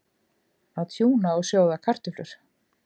Að tjúna og sjóða kartöflur